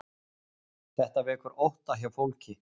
Þetta vekur ótta hjá fólki